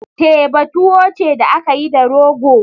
Teba tuwo ce da aka yi da rogo.